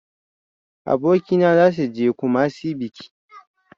Abokaina zasu je e kumasi biki.